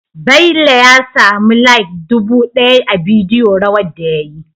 Bello ya samu like dubu daya a bidiyo rawar da yayi